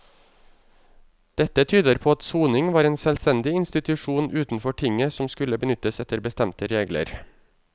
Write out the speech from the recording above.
Dette tyder på at soning var en selvstendig institusjon utenfor tinget som skulle benyttes etter bestemte regler.